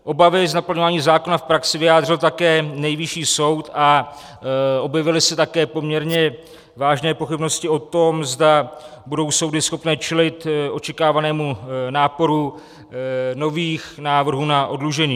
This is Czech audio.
Obavy z naplňování zákona v praxi vyjádřil také Nejvyšší soud a objevily se také poměrně vážné pochybnosti o tom, zda budou soudy schopné čelit očekávanému náporu nových návrhů na oddlužení.